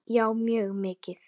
Já mjög mikið.